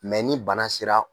Mɛ ni bana sera